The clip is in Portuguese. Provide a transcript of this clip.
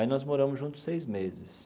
Aí nós moramos juntos seis meses.